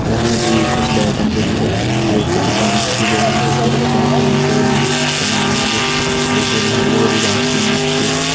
यखमा जी कुछ लेटन जगीं और एक कक्खि पार्क की जगह जख बच्चों को खेलन कु होन्दु उख सामान होन्दु और यख बड़ी हरी भरी घास भी नी च।